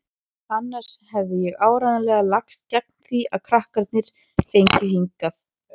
Annars hefði ég áreiðanlega lagst gegn því að krakkarnir fengju þig hingað.